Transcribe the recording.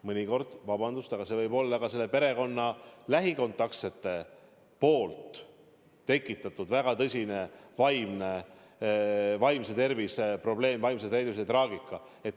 Mõnikord, vabandust, võib see olla ka perekonna lähikontaktsete tekitatud väga tõsine vaimse tervise probleem, vaimse tervisega seotud traagika.